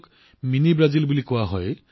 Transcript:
বিচাৰপুৰৰ নাম mini Brazil